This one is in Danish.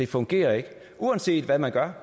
fungerer ikke uanset hvad man gør